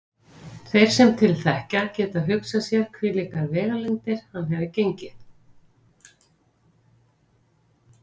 Þeir sem til þekkja geta hugsað sér hvílíkar vegalengdir hann hefur gengið.